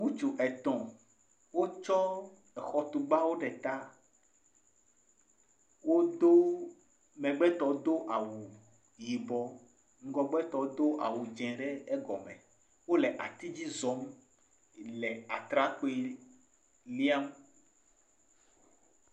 Ŋutsu etɔ̃ wotsɔ xɔtugbawo ɖe ta. Wodo, megbetɔ do awu yibɔ, ŋgɔgbetɔ do awu dzɛ̃ ɖe egɔme. Wole ati dzi zɔm le atrakpui líam.